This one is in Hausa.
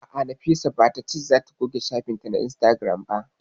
A'a, Nafisa ba ta ce za ta goge shafin ta na Instagram ba